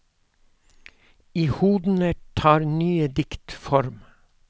I hodene tar nye dikt form.